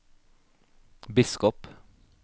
biskop